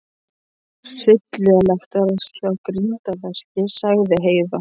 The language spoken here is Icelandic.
Hryllilegt er að sjá grindverkið, sagði Heiða.